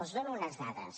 els dono unes dades